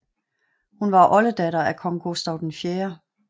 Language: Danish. Hun var oldedatter af kong Gustav 4